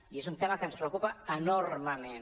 i és un tema que ens preocupa enormement